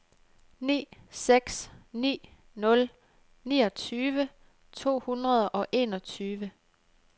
ni seks ni nul niogtyve to hundrede og enogtyve